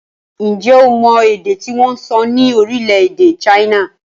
Ǹjẹ́ o mọ èdè tí wọ́n ń sọ ní orílẹ̀-èdè China?